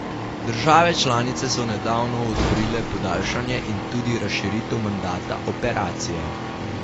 Države članice so nedavno odobrile podaljšanje in tudi razširitev mandata operacije.